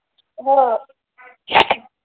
हा